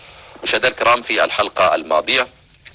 я только алматы